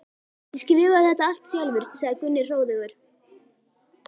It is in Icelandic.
Ég skrifaði það allt sjálfur, sagði Gunni hróðugur.